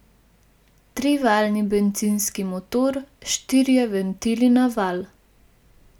Trivaljni bencinski motor, štirje ventili na valj.